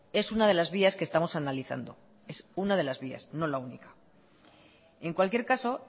es una de las vías que estamos analizando es una de las vías no la única en cualquier caso